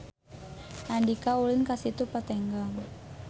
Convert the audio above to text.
Andika ulin ka Situ Patenggang